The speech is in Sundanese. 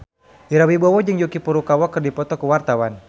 Ira Wibowo jeung Yuki Furukawa keur dipoto ku wartawan